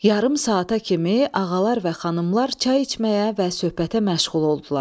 Yarım saata kimi ağalar və xanımlar çay içməyə və söhbətə məşğul oldular.